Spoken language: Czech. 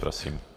Prosím.